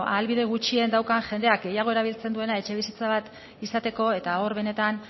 ahalbide gutxien daukan jendea gehiago erabiltzen duena etxebizitza bat izateko eta hor benetan